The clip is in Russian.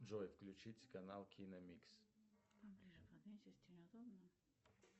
джой включить канал киномикс